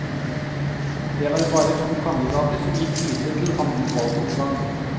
Det var bare to kandidater som gikk videre til annen valgomgang.